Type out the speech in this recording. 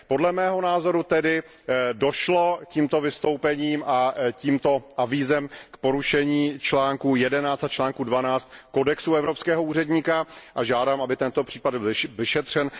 Podle mého názoru tedy došlo tímto vystoupením a tímto avízem k porušení článku 11 a článku 12 kodexu evropského úředníka a žádám, aby tento případ byl vyšetřen.